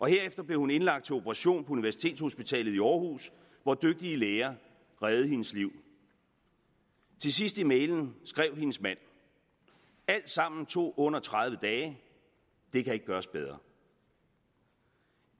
herefter blev hun indlagt til operation på universitetshospitalet i aarhus hvor dygtige læger reddede hendes liv til sidst i mailen skrev hendes mand alt sammen tog under tredive dage det kan ikke gøres bedre